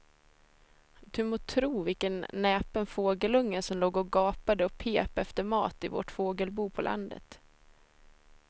Du må tro vilken näpen fågelunge som låg och gapade och pep efter mat i vårt fågelbo på landet.